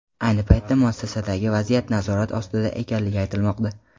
Ayni paytda muassasadagi vaziyat nazorat ostida ekanligi aytilmoqda.